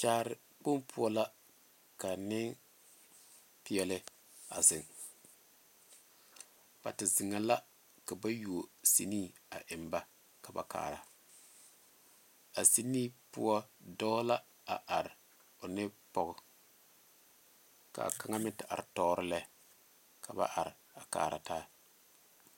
Kyaare kpoŋ poɔ la ka Nenpeɛle a zeŋ ba te zeŋe la ka ba yuo siinee a eŋ ba ka ba are a siinee poɔ dɔɔ la a are o ne pɔge kaa kaŋa meŋ te are tɔɔre lɛ ka ba are a kaara taa.